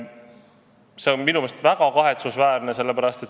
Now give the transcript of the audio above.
See on minu meelest väga kahetsusväärne.